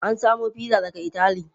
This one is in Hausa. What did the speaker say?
An samo fiza daga itali.